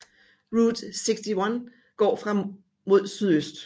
Route 61 går fra mod sydøst